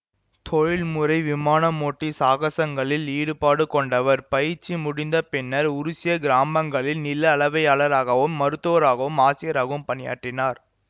தொழில்முறை விமானமோட்டி சாகசங்களில் ஈடுபாடு கொண்டவர் பயிற்சி முடிந்த பின்னர் உருசிய கிராமங்களில் நில அளவையாளராகவும் மருத்துவராகவும் ஆசிரியராகவும் பணியாற்றினார்